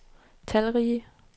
talrige